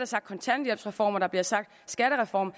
sagt kontanthjælpsreform der bliver sagt skattereform